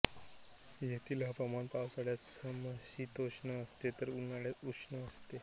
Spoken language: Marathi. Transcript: येथील हवामान पावसाळ्यात समशीतोष्ण असते तर उन्हाळ्यात उष्ण असते